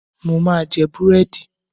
Mo ma jẹ búrẹ́dì.